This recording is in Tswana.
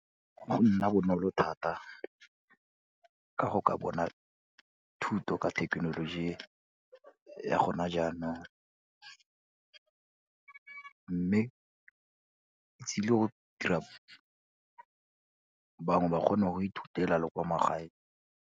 Go nna bonolo thata ka go ka bona thuto ka thekenoloji e ya gona jaanong, mme tsile go dira bangwe ba kgone go ithutela le kwa magaeng.